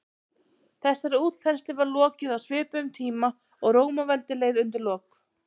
þessari útþenslu var lokið á svipuðum tíma og rómaveldi leið undir lok